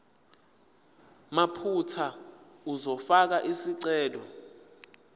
mathupha uzofaka isicelo